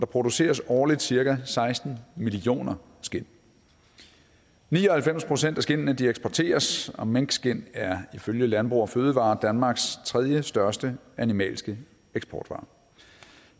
produceres årligt cirka seksten millioner skind ni og halvfems procent af skindene eksporteres og minkskind er ifølge landbrug fødevarer danmarks tredjestørste animalske eksportvare